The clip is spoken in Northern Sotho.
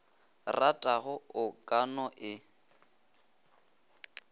ratago o ka no e